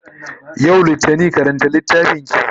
yau littani karanta littafinki!